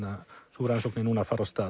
sú rannsókn er núna að fara af stað